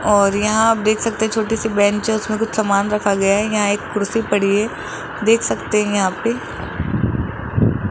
और यहां आप देख सकते है छोटी सी बेंच है। इसमें कुछ सामान रखा गया है। यहां एक कुर्सी पड़ी है। देख सकते है यहां पे।